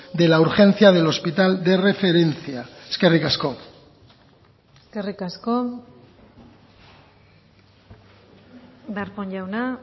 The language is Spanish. de la urgencia del hospital de referencia eskerrik asko eskerrik asko darpón jauna